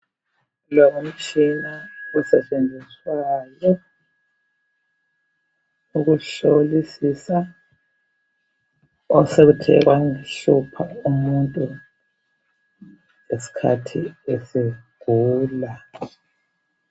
Kulomtshina osetshenziswayo ukuhlolisisa osekuthe kwaba luhlupho umuntu ngesikhathi esegula.